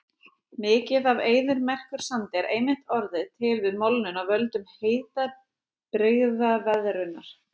Mikið af eyðimerkursandi er einmitt orðið til við molnun af völdum hitabrigðaveðrunar.